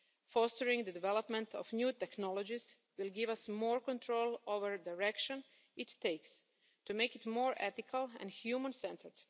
Fostering the development of new technologies will give us more control over the direction it takes, to make it more ethical and human centred.